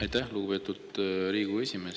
Aitäh, lugupeetud Riigikogu esimees!